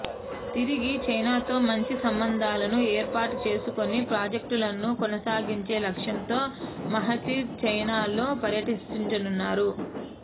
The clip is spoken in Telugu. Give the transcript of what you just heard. తిరిగి చైనాతో మంచి సంబంధాలను ఏర్పాటు చేసుకుని ప్రాజక్టులను కొనసాగించే లక్ష్యంతో మహతీర్ చైనాలో పర్యటించనున్నారు